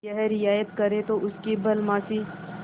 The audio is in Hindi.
यह रियायत करें तो उनकी भलमनसी